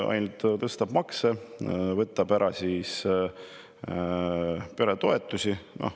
Ainult tõstab makse ja võtab ära peretoetusi.